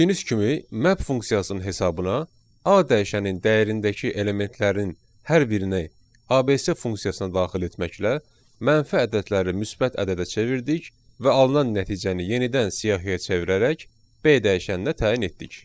Gördüyünüz kimi map funksiyasının hesabına A dəyişənin dəyərindəki elementlərin hər birini ABC funksiyasına daxil etməklə mənfi ədədləri müsbət ədədə çevirdik və alınan nəticəni yenidən siyahıya çevirərək B dəyişənində təyin etdik.